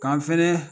K'an fɛnɛ